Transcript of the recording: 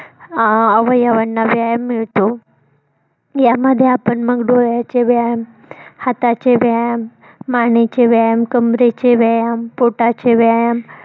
अं अवयवांना व्यायाम मिळतो. यामध्ये आपण मग डोळ्याचे व्यायाम, हाताचे व्यायाम, मानेचे व्यायाम, कमरेचे व्यायाम, पोटाचे व्यायाम